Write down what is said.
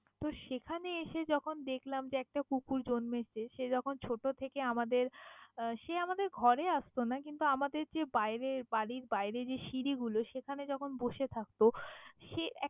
সেখানে এসে যখন দেখলাম একটা কুকুর জন্মেছে, সে যখন ছোটো থেকে আমাদের সে আমাদের ঘরে আসত না, কিন্তু আমাদের যে বাইরে বাড়ির বাইরে যে সিঁড়িগুলো সেখানে যখন বসে থাকত সে ।